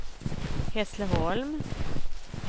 Hässleholm